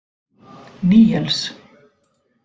Níels